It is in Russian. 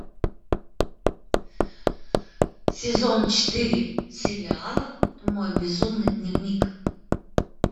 сезон четыре сериала мой безумный дневник